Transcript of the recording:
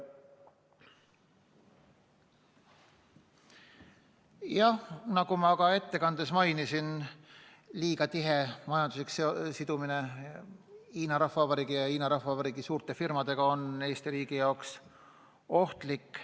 Jah, nagu ma ettekandes mainisin, liiga tihe majanduslik sidumine Hiina Rahvavabariigi ja Hiina Rahvavabariigi suurte firmadega on Eesti riigi jaoks ohtlik.